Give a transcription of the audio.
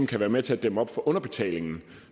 kan være med til at dæmme op for den underbetaling